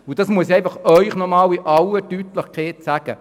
Das muss ich Ihnen deshalb erneut in aller Deutlichkeit sagen